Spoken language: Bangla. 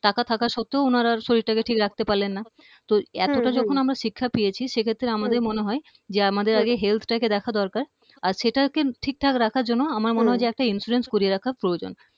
টাকা থাকার সত্ত্বেও উনারা আর শরীরটাকে ঠিক রাখতে পারলেননা তো এতটা যখন আমরা শিক্ষা পেয়েছি সে ক্ষেত্রে আমাদের মনে হয় যে আমাদের আগে health টাকে দেখা দরকার আর সেটাকে ঠিক রাখার জন্য আমার মনে হয় একটা insurance করিয়ে রাখার প্রয়োজন